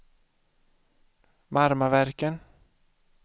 Marmaverken